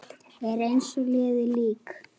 Er eins og liðið lík.